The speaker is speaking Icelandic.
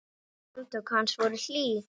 Handtök hans voru hlý.